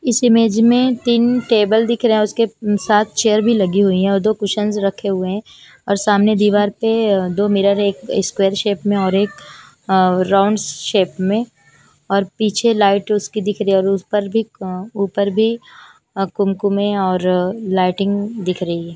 इस इमेज में तीन टेबल दिख रहे है उसके साथ चेयर भी लगी हुई है और दो कुशन रखे हुए है और सामने दीवार पे अ दो मिरर है एक स्केवेयर शेप में और एक अ राउंड शेप में और पीछे लाइट उसकी दिख रही है और उस पर भी क ऊपर भी अ कुम-म है और लाइटिंग दिख रही है।